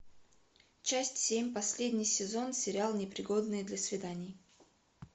часть семь последний сезон сериал непригодные для свиданий